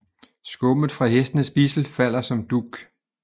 Skummet fra hestens bidsel falder som dug